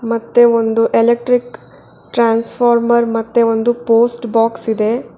ಮತ್ತೆ ಒಂದು electric transformer ಮತ್ತೆ ಒಂದು ಪೋಸ್ಟ್ ಬಾಕ್ಸ್ ಇದೆ.